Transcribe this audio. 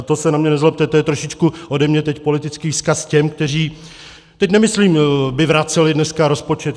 A to se na mě nezlobte, to je trošičku ode mě teď politický vzkaz těm, kteří - teď nemyslím by vraceli dneska rozpočet.